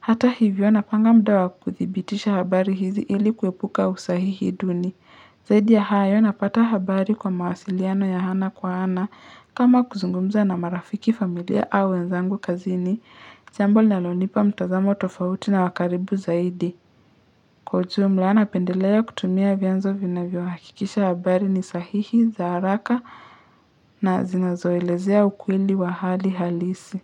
Hata hivyo napanga muda wa kuthibitisha habari hizi ili kuepuka usahihi duni. Zaidi ya hayo napata habari kwa mawasiliano ya ana kwa ana kama kuzungumza na marafiki familia au wenzangu kazini. Jambo linalonipa mtazamo tofauti na wakaribu zaidi. Kwa ujumla napendelea kutumia vyanzo vinavyo hakikisha habari ni sahihi, za haraka na zinazoelezea ukweli wa hali halisi.